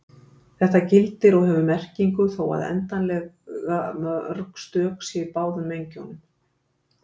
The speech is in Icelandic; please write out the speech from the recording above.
Þetta gildir og hefur merkingu þó að óendanlega mörg stök séu í báðum mengjunum.